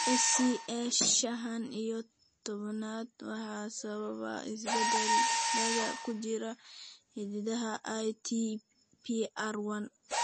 SCA shaan iyo tobnaad waxaa sababa isbeddellada ku jira hiddaha ITPR1.